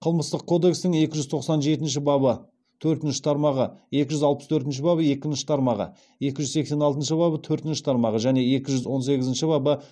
қылмыстық кодексінің екі жүз тоқсан жетінші бабы төртінші тармағы екі жүз алпыс төртінші бабы екінші тармағы екі жүз сексен алтыншы бабы төртінші тармағы және екі жүз он сегізінші бабы